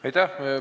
Aitäh!